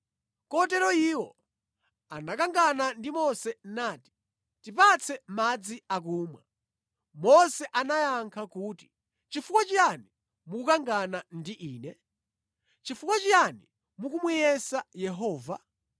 Kotero iwo anakangana ndi Mose nati, “Tipatse madzi akumwa.” Mose anayankha kuti, “Chifukwa chiyani mukukangana ndi ine? Chifukwa chiyani mukumuyesa Yehova?”